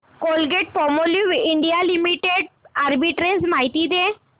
Colgate Palmolive India limited arbitrage माहिती दे